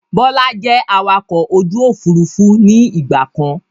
Bọlá jẹ́ awakọ̀ ojú Òfurufú ni ìgbàkan.